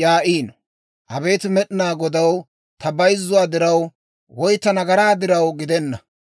yaa'iino. Abeet Med'inaa Godaw, ta bayzzuwaa diraw woy ta nagaraa diraw gidenna.